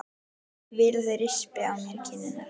Vil að þeir rispi á mér kinnarnar.